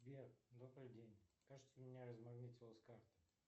сбер добрый день кажется у меня размагнитилась карта